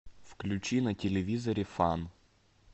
включи на телевизоре фан